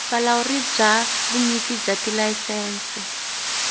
vulawuri bya vunyiki bya tilayisense